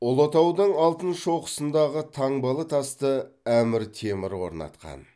ұлытаудың алтын шоқысындағы таңбалы тасты әмір темір орнатқан